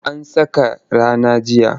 An saka rana jiya.